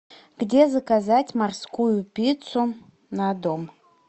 где заказать морскую пиццу на дом